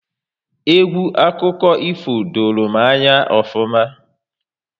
Egwu akụkọ ifo doro m anya ofuma